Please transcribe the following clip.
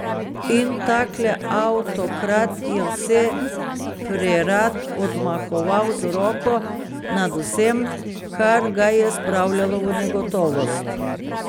In takle avtokrat je vse prerad odmahoval z roko nad vsem, kar ga je spravljalo v negotovost.